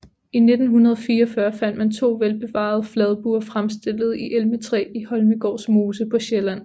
I 1944 fandt man to velbevarede fladbuer fremstillet i elmetræ i Holmegårds mose på Sjælland